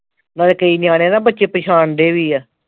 ਨਾਲੇ ਕਈ ਨਿਆਣੇ ਨਾ ਬੱਚੇ ਪਛਾਣਦੇ ਵੀ ਆ